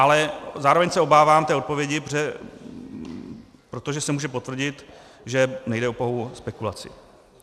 Ale zároveň se obávám té odpovědi, protože se může potvrdit, že nejde o pouhou spekulaci.